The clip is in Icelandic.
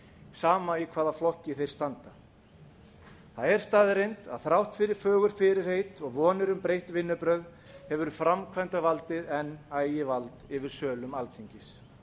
sama í hvaða flokki þeir standa það er staðreynd að þrátt fyrir fögur fyrirheit og vonir um breytt vinnubrögð hefur framkvæmdarvaldið enn ægivald yfir sölum alþingis